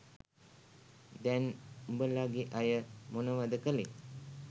දැන් උඔලගෙ අය මොනවද කලේ?